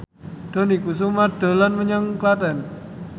Dony Kesuma dolan menyang Klaten